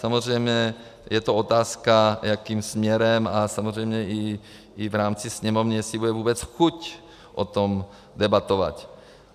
Samozřejmě je to otázka, jakým směrem, a samozřejmě i v rámci Sněmovny jestli bude vůbec chuť o tom debatovat.